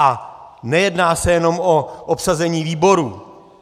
A nejedná se jenom o obsazení výborů.